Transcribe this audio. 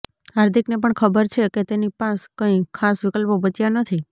હાર્દિકને પણ ખબર છે કે તેની પાસ કંઈ ખાસ વિકલ્પો બચ્યા નથી